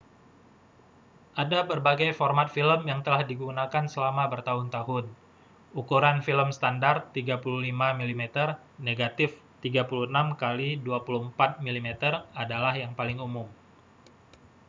ada berbagai format film yang telah digunakan selama bertahun-tahun. ukuran film standar 35 mm negatif 36 kali 24 mm adalah yang paling umum